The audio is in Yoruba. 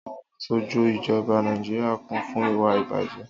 Àwon asojú ijọba Nàíjíríà kún fún ìwà-ìbàjẹ́.